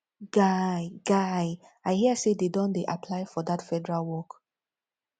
guy guy i hear say dey don dey apply for dat federal work